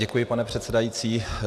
Děkuji, pane předsedající.